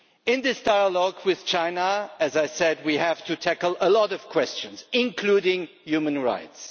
In this dialogue with China, as I said, we have to tackle a lot of questions, including human rights.